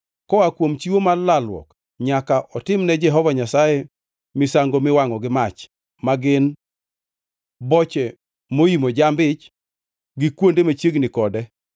Koa kuom chiwo mar lalruok nyaka otimne Jehova Nyasaye misango miwangʼo gi mach ma gin: boche moimo jamb-ich, gi kuonde machiegni kode,